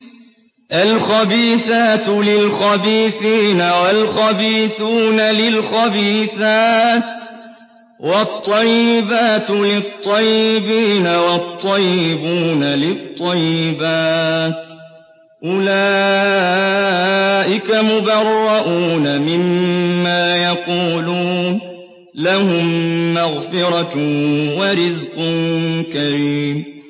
الْخَبِيثَاتُ لِلْخَبِيثِينَ وَالْخَبِيثُونَ لِلْخَبِيثَاتِ ۖ وَالطَّيِّبَاتُ لِلطَّيِّبِينَ وَالطَّيِّبُونَ لِلطَّيِّبَاتِ ۚ أُولَٰئِكَ مُبَرَّءُونَ مِمَّا يَقُولُونَ ۖ لَهُم مَّغْفِرَةٌ وَرِزْقٌ كَرِيمٌ